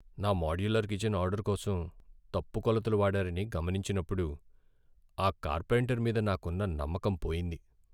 నా modular kitchen order కోసం తప్పు కొలతలు వాడారని గమనించినప్పుడు ఆ కార్పెంటర్ మీద నాకున్న నమ్మకం పోయింది.